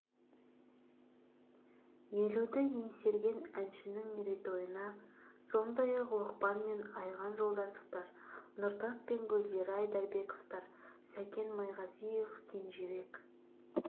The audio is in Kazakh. елуді еңсерген әншінің мерейтойына сондай-ақ лұқпан мен айған жолдасовтар нұртас пен гүлзира айдарбековтер сәкен майғазиев кенжебек